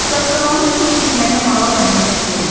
Sağsağanın uçub getməyinə maral əhəmiyyət vermədi.